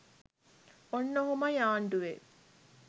ඔන්න ඔහොමයි ආණ්ඩුවේ